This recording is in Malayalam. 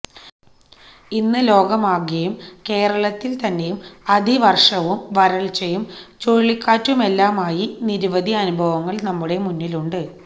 ഇന്ന് ലോകമാകെയും കേരളത്തില് തന്നെയും അതിവര്ഷവും വരള്ച്ചയും ചുഴലിക്കാറ്റുമെല്ലാമായി നിരവധി അനുഭവങ്ങള് നമ്മുടെ മുന്നിലുണ്ട്